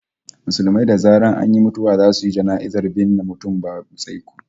Musulmai da zaran an yi mutuwa zasu yi jana'iza su binne mutum babu tsaiko